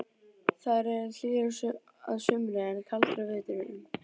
Þær eru hlýjar að sumri en kaldar á vetrum.